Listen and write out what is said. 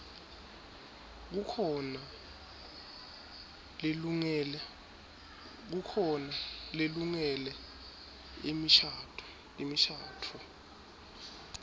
kukhona lelungele imishadvo